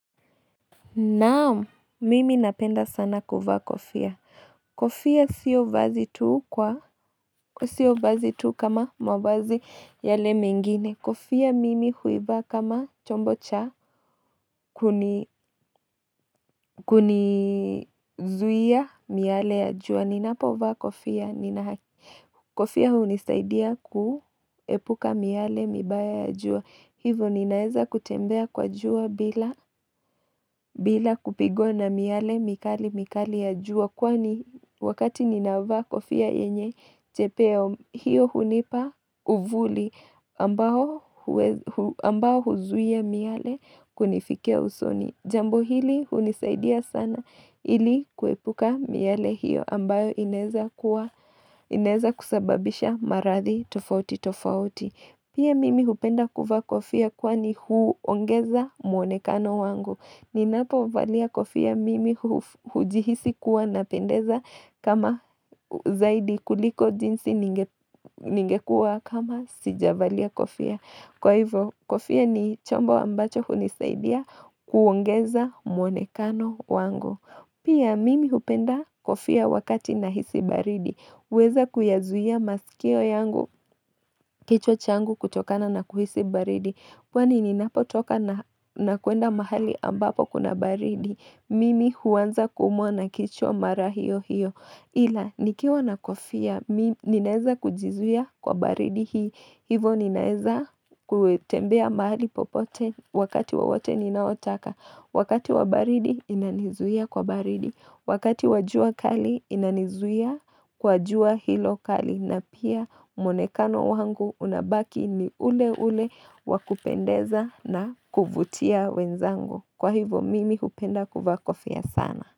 Naam, mimi napenda sana kuvaa kofia. Kofia sio vazi tu kama mavazi yale mengine. Kofia mimi huivaa kama chombo cha kunizuia miale ya jua. Ninapo vaa kofia. Kofia hunisaidia kuepuka miale mibaya ya jua. Hivo ninaeza kutembea kwa jua bila kupigwa na miale mikali mikali ya jua kwani wakati ninavaa kufia yenye chepeo hiyo hunipa uvuli ambao huzuia miale kunifikia usoni. Jambo hili hunisaidia sana ili kuepuka miale hiyo ambayo inaeza kusababisha maradhi tofauti tofauti. Pia mimi hupenda kuvaa kofia kwani huongeza muonekano wangu. Ninapo valia kofia mimi hujihisi kuwa napendeza kama zaidi kuliko jinsi ningekua kama sijavalia kofia. Kwa hivyo, kofia ni chombo ambacho hunisaidia kuongeza mwonekano wangu. Pia mimi hupenda kofia wakati nahisi baridi. Huweza kuyazuia masikio yangu kichwa changu kutokokana na kuhisi baridi. Kwani ninapotoka na kuenda mahali ambapo kuna baridi. Mimi huanza kuumwa na kichwa mara hiyo hiyo. Ila, nikiwa na kofia, ninaeza kujizuia kwa baridi hii. Hivo ninaeza kutembea mahali popote wakati wowote ninaotaka. Wakati wa baridi inanizuia kwa baridi. Wakati wa jua kali inanizuia kwa jua hilo kali. Na pia mwonekano wangu unabaki ni ule ule wakupendeza na kuvutia wenzangu. Kwa hivo mimi hupenda kuvaa kofia sana.